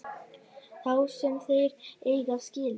Þá sem þeir eiga skilið.